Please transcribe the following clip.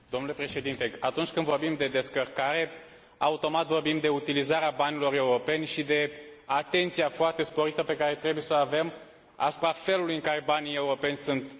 Atunci când vorbim de descărcare de gestiune, automat vorbim de utilizarea banilor europeni și de atenția foarte sporită pe care trebuie să o avem asupra felului în care banii europeni sunt folosiți.